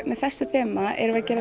með þessu þema erum við að gera